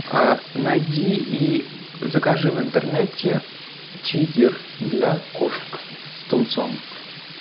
найди и закажи в интернете чизер для кошек с тунцом